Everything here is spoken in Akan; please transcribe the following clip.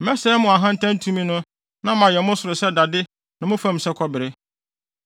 Mɛsɛe mo ahantan tumi no na mayɛ mo soro sɛ dade ne mo fam sɛ kɔbere.